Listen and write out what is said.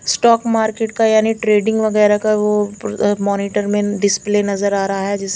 stock market का यानि trading वगेरा का वो मॉनिटर में डिस्प्ले वगेरा नज़र आरहा है जिस --